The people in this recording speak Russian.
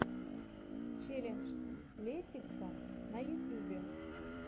челлендж лесиксам на ютюбе